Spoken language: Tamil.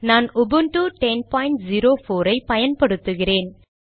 நான் உபுண்டு 1004 ஐ பயன்படுத்துகிறேன்